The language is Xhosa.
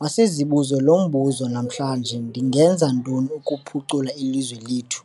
Masizibuze lo mbuzo - 'Namhlanje ndingenza ntoni ukuphucula ilizwe lethu?